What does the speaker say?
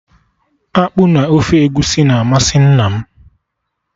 Akpụ na ofe Egusi na-amasị nna m